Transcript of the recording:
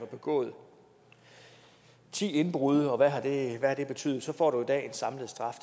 begået ti indbrud og hvad har det betydet så får du i dag en samlet straf